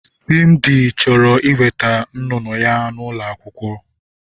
Simdi chọrọ iweta nnụnụ ya n'ụlọ akwụkwọ.